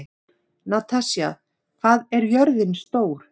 Natasja, hvað er jörðin stór?